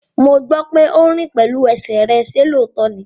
Mo gbọ́ pé o rìn pẹ̀lú ẹsẹ̀ rẹ, ṣe lóòótọ́ ní?